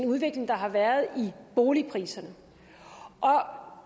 udvikling der har været i boligpriserne